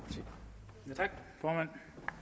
bragt